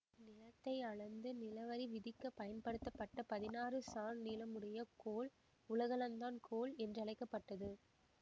நிலத்தை அளந்து நிலவரி விதிக்க பயன்படுத்தப்பட்ட பதினாறு சாண் நீளமுடைய கோல் உலகளந்தான் கோல் என்றழைக்க பட்டது